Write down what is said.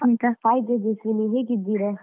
Hai Tejaswini, ಹೇಗಿದ್ದೀರಾ?